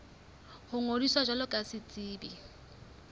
ho ngodisa jwalo ka setsebi